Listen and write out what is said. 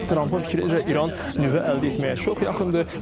Trampın fikrincə İran nüvə əldə etməyə çox yaxındır.